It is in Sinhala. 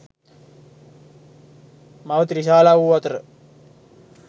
මව ත්‍රිශාලා වූ අතර